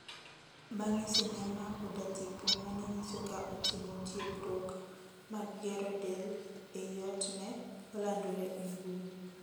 Bang'e sinema oda tipo mane nyiso ka otimo tiegruok mag gero del e i ot ne olandore e mbui